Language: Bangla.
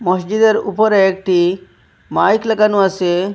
মসজিদের উপরে একটি মাইক লাগানো আসে।